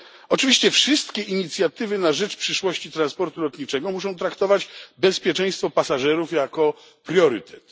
Oczywiście wszystkie inicjatywy na rzecz przyszłości transportu lotniczego muszą traktować bezpieczeństwo pasażerów jako priorytet.